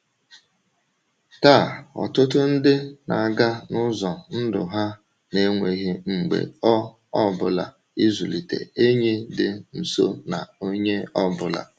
Taa, ọtụtụ ndị na-aga n’ụzọ ndụ ha na-enweghị mgbe ọ ọ bụla ịzụlite enyi dị nso na onye ọ bụla.